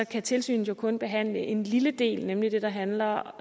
kan tilsynet jo kun behandle en lille del nemlig det der handler